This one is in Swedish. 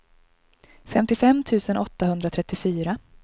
femtiofem tusen åttahundratrettiofyra